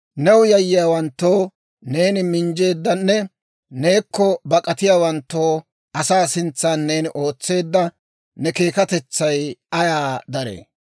New yayyiyaawanttoo neeni minjjeeddanne neekko bak'atiyaawanttoo asaa sintsan, neeni ootseedda ne keekkatetsay ayaa daree!